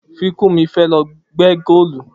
Fikunmi fẹ́ lọ gbẹ́ góòlù